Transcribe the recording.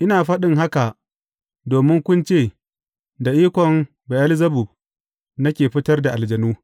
Ina faɗin haka domin kun ce, da ikon Be’elzebub nake fitar da aljanu.